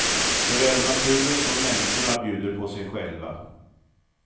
Såväl naturen som människorna bjuder på sig själva.